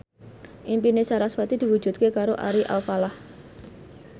impine sarasvati diwujudke karo Ari Alfalah